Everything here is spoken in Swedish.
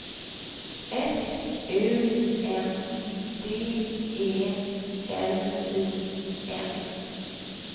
S U N D E L I N